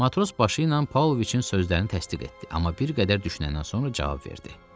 Matros başı ilə Pavloviçin sözlərini təsdiq etdi, amma bir qədər düşünəndən sonra cavab verdi.